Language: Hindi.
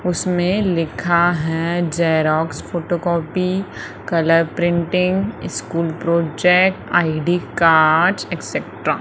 उसमें लिखा है xerox photocopy colour printing school project ID cards etcetera.